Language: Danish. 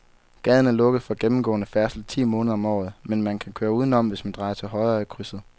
Gaden er lukket for gennemgående færdsel ti måneder om året, men man kan køre udenom, hvis man drejer til højre i krydset.